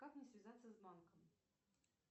как мне связаться с банком